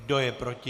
Kdo je proti?